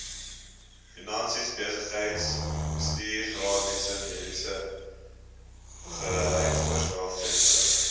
finansies besigheidsbestuursadvies mededingendheidsverbeteringsteun